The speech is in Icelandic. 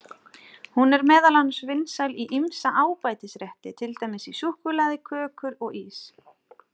Hún er meðal annars vinsæl í ýmsa ábætisrétti, til dæmis í súkkulaði, kökur og ís.